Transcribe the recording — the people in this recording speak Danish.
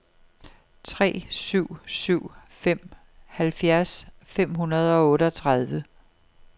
tre syv syv fem halvfjerds fem hundrede og otteogtredive